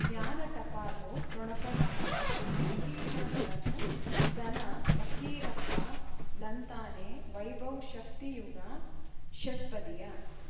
ಜ್ಞಾನ ಟಪಾಲು ಠೊಣಪ ಡಾಕ್ಟರ್ ಢಿಕ್ಕಿ ಣಗಳನು ಧನ ಫಕೀರಪ್ಪ ಳಂತಾನೆ ವೈಭವ್ ಶಕ್ತಿ ಯುಗಾ ಷಟ್ಪದಿಯ